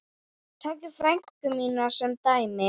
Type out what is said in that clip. Takið frænku mína sem dæmi.